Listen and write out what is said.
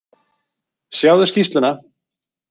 Sjáðu skýrsluna.